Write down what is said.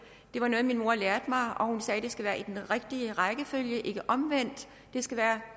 det var noget min mor lærte mig og hun sagde at det skal være i den rigtige rækkefølge ikke omvendt det skal være